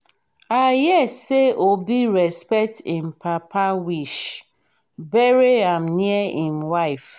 i hear say obi respect im papa wish bury am near im wife